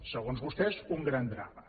segons vostès un gran drama